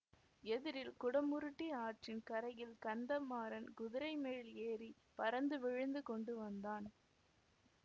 எதிரில் குடமுருட்டி ஆற்றின் கரையில் கந்தமாறன் குதிரை மேல் ஏறி பறந்து விழுந்து கொண்டு வந்தான்